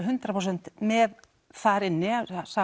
hundrað prósent með þar inni